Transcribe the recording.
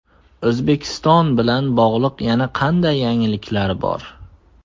O‘zbekiston bilan bog‘liq yana qanday yangiliklar bor?